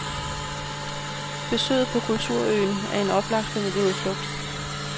Besøget på kulturøen er en oplagt familieudflugt.